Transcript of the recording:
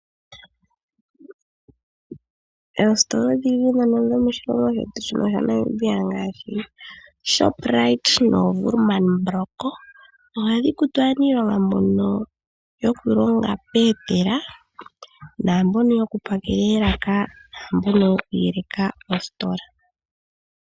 Oostola odhindji dhomoshilongo shetu ngaashi, Shoprite noshowo Woermanbrock ohadhi kutu aaniilonga mbono yoku longa peetela naambono yoku pakela eelaka naambono yoku yeleka ostola.